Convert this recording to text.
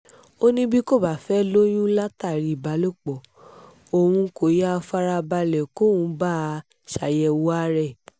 ó ní bí kò bá fẹ́ẹ́ lóyún látàrí ìbálòpọ̀ ohun kó yáa fara balẹ̀ kóun bá a ṣàyẹ̀wò ara ẹ̀